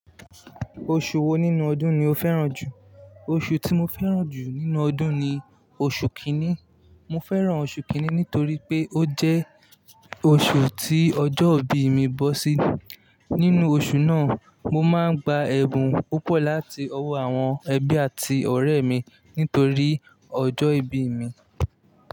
Oṣù wo nínú ọdún ni o fẹ́ràn jù? Oṣù tí mo fẹ́ràn jù nínú ọdún ni oṣù kínní. Mo fẹ́ràn oṣù kínní nítorí pé ó jẹ́ oṣù tí ọjọ́ ìbí mi bọ́ sí. Nínú oṣù náà, mo máa ń gba ẹ̀bùn púpọ̀ láti ọwọ́ àwọn ẹbí àti ọ̀rẹ́ mi nítorí ọjọ́ ìbí mi.